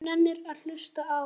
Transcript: Hver nennir að hlusta á.